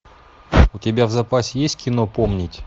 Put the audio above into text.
у тебя в запасе есть кино помнить